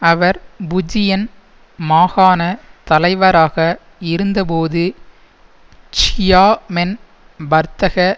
அவர் Fujian மாகாண தலைவராக இருந்தபோது க்சியாமென் வர்த்தக